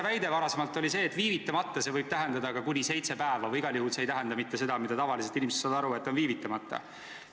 Teie varasem väide oli see, et "viivitamata" võib tähendada ka kuni seitset päeva ja et igal juhul ei tähenda see mitte seda, mida tavaliselt inimesed silmas peavad, kui öeldakse "viivitamata".